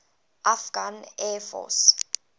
afghan air force